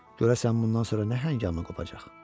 Görəsən bundan sonra nə həngamə qopacaq?